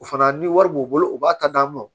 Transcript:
O fana ni wari b'u bolo u b'a ta d'a ma